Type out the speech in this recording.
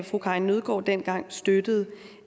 fru karin nødgaard dengang støttede